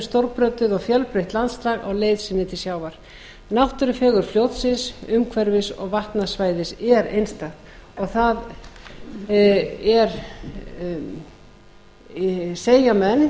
stórbrotið og fjölbreytt landslag á leið sinni til sjávar náttúrufegurð fljótsins umhverfis og vatnasvæðis er einstakt og það segja menn